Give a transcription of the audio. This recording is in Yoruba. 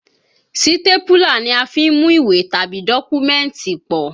Sítépúlà ni a fí ń mú ìwé tàbí dọ́kúmẹ̀tì pọ̀